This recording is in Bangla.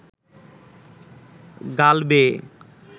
গাল বেয়ে